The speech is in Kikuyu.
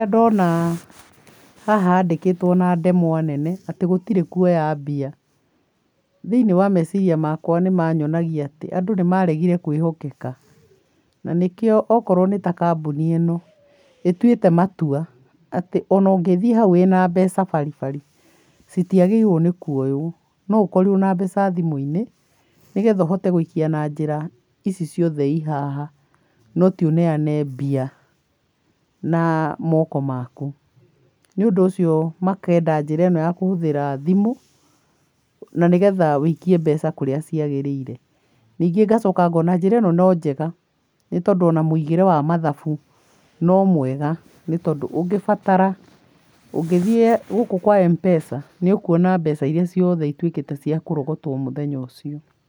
Rĩrĩa ndona, haha handĩkĩtwo na ndemwa nene atĩ gũtirĩ kuoya mbia, thĩinĩ wa meciria makwa nĩ manyonagia atĩ, andũ nĩ maregire kwĩhokeka, na nĩkĩo, okorwo nĩ ta kambũni ĩno, ĩtuĩte matua atĩ ona ũngĩthiĩ hau wĩna mbeca baribari, citiagĩrĩirwo nĩ kuoywo, no ũkorirwo na mbeca thimũ-inĩ, nĩgetha ũhote gũikia na njĩra ici ciothe i haha, no ti ũneane mbia, na moko maku. Nĩũndũ ũcio makenda njĩra ĩno ya kũhũthĩra thimũ, na nĩ getha ũikie mbeca kũrĩa ciagĩrĩire. Ningĩ ngacoka ngona njĩra ĩno no njega, nĩ tondũ ona mũigĩre wa mathabu, no mwega nĩ tondũ ũngĩbatara, ũngĩthiĩ gũkũ kwa M-Pesa, nĩ ũkuona mbeca iria ciothe ituĩkĩte cia kũrogotwo mũthenya ũcio.